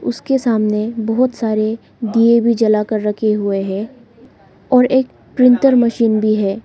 उसके सामने बहुत सारे दिए भी जला कर रखे हुए है और एक प्रिंटर मशीन भी है।